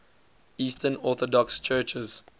eastern orthodox churches